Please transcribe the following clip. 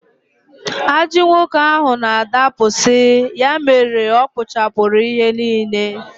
Ajị nwoke ahụ na-adapụsị, ya mere ọkpụchapụrụ ihe niile